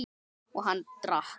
Og hann drakk.